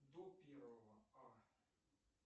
до первого а